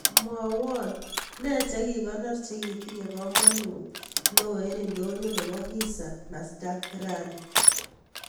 Mwawan ne chekikonor chekitinye kamanut neo en ndonyo nebo hisa nasdaq rani